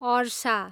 अर्सा